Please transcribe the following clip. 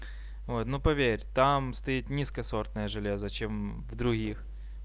вот ну поверь там стоит низкосортное железо чем в других